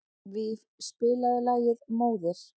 Víf, spilaðu lagið „Móðir“.